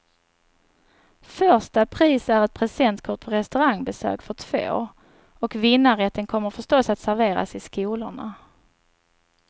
Första pris är ett presentkort på restaurangbesök för två, och vinnarrätten kommer förstås att serveras i skolorna.